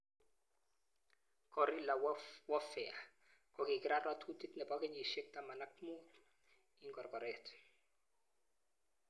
Guerrilla warfare kokikirat ratutik nebo kenyishek taman ak mut ik korgorret.